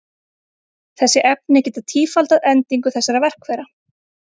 Þessi efni geta tífaldað endingu þessara verkfæra.